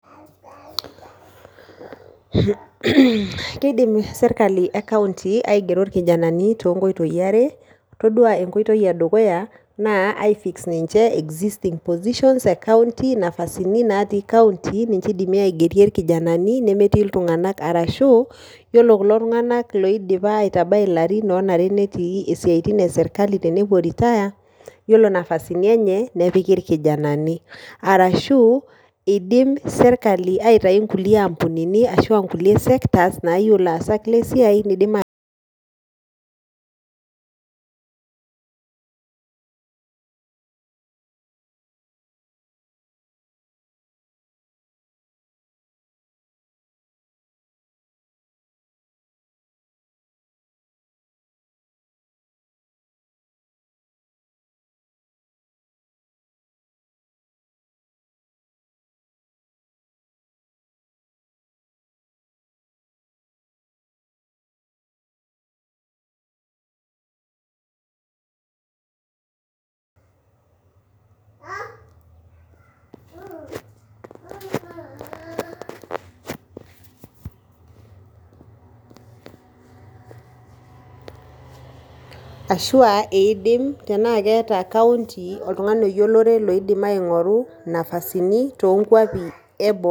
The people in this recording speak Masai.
Keidim sirkali ekaunti aigero ilkijanani too nkoitoi are. Itodua nkoitoi edukuya na aifix ninche existing positions ekaunti nafasini natii kaunti ninche eidimi aigerie irkijanani nemetii iltunganak arashu iyolo tunganak loidipa aitabai ilarin onare netii siaitin esirkali tenepuo retire, iyolo napasini enye nepiki ilkijanani arashuu eidimsirkali aitai nkulie ampunini ashu aankulie sektas naayeu ilaasak le siai neidim